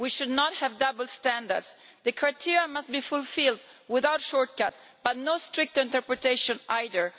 We should not have double standards. The criteria must be fulfilled without shortcuts, but no strict interpretation either.